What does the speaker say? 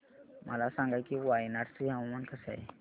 मला सांगा की वायनाड चे हवामान कसे आहे